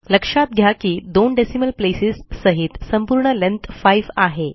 लक्षात घ्या की दोन डेसिमल प्लेसेस सहित संपूर्ण लेंथ 5 आहे